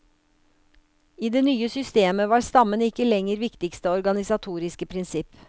I det nye systemet var stammen ikke lenger viktigste organisatoriske prinsipp.